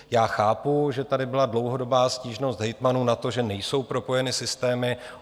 Já chápu, že tady byla dlouhodobá stížnost hejtmanů na to, že nejsou propojeny systémy.